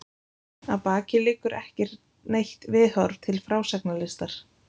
Að baki liggur ekki neitt viðhorf til frásagnarlistar.